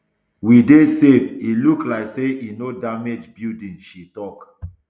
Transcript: we dey safe e look like say e no damage buildings she tok